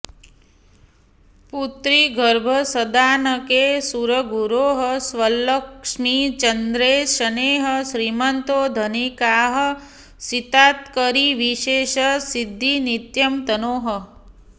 पुत्री गर्भसदानके सुरगुरोः स्वल्लक्ष्मिचन्द्रे शनेः श्रीमन्तो धनिकाः सितात्करिविशेषे सिद्धिनित्यं तनोः